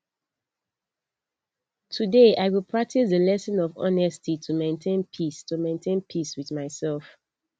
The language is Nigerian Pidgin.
today i go practice di lesson of honesty to maintain peace to maintain peace with myself